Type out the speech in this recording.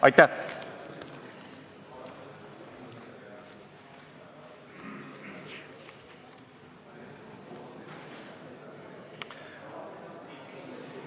Aitäh!